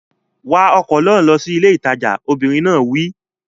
Wa ọkọ̀ náà lọ sí ilé ìtajà! Obìnrin náà wí.